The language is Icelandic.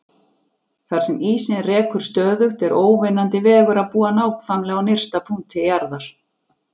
Þar sem ísinn rekur stöðugt er óvinnandi vegur að búa nákvæmlega á nyrsta punkti jarðar.